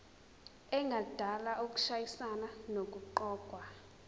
engadala ukushayisana nokuqokwa